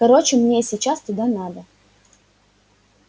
короче мне сейчас туда надо